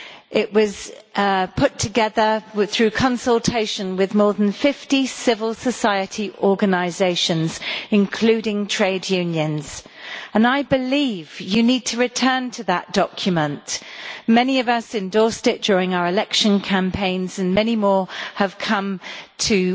It was put together through consultation with more than 50 civil society organisations, including trade unions, and I believe you need to return to that document. Many of us endorsed it during our election campaigns and many more have come to